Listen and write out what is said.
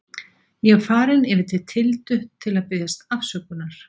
Ég er farinn yfir til Tildu til að biðjast afsökunar.